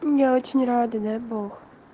мм я очень рада дай бог